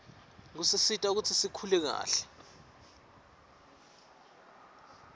kusisita kutsi sikhule kahle